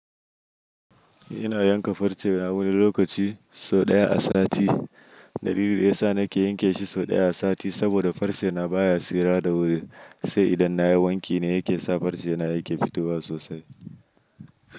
Ina yanka farce na wani lokaci sau ɗaya a sati. Dalilin da yasa nake yanke shi sau ɗaya a sati saboda farce na baya tsira da wuri. Sai idan nayi wanki ne yake sa farce na yake fitowa sosai.